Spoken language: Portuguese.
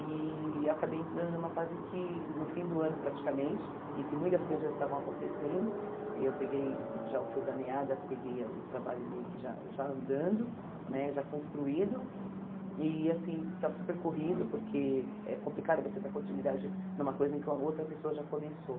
E eu acabei entrando numa fase que, no fim do ano praticamente, em que muitas coisas já estavam acontecendo, eu peguei já o fio da meada, peguei o trabalho meio que já já andando, né já construído, e assim, está super corrido, porque é complicado você dar continuidade numa coisa em que outra pessoa já começou.